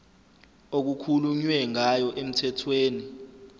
okukhulunywe ngayo emthethweni